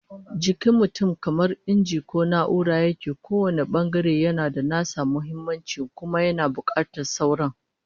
Jikin mutum kamar inji ko na'ura yake, kowane bangare yana da nasa muhimmancin kuma yana bukatar sauran